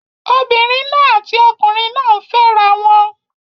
Obìnrin náà àti ọkùnrin náà ń fẹ́ra wọn